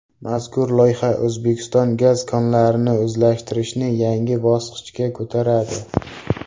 Mazkur loyiha O‘zbekiston gaz konlarini o‘zlashtirishni yangi bosqichga ko‘taradi.